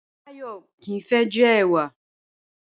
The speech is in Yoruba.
Báyò̩ kì í fé̩ je̩ è̩wà